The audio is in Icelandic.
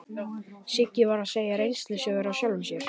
Siggi var að segja reynslusögur af sjálfum sér.